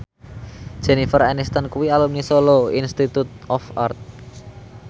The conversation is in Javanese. Jennifer Aniston kuwi alumni Solo Institute of Art